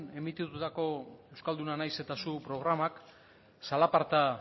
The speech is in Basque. emititutako euskalduna naiz eta zu programak zalaparta